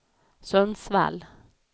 Sundsvall